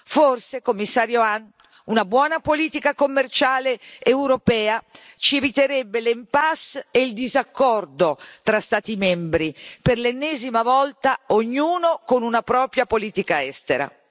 Forse, commissario Hahn, una buona politica commerciale europea ci eviterebbe l'impasse e il disaccordo fra Stati membri, per l'ennesima volta ognuno con una propria politica estera.